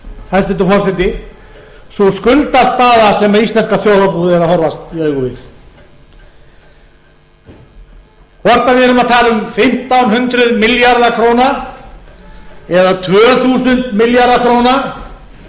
hæstvirtur forseti sú skuldastaða sem íslenska þjóðarbúið er að horfast í augu við hvort við erum að tala um fimmtán hundruð milljarða króna eða tvö þúsund milljarða króna hvor talan